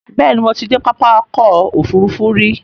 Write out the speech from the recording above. Bẹ́ẹ̀ni, Mo ti de pápákọ̀ òfurufú rí